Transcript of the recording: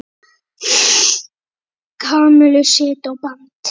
Kamillu á sitt band.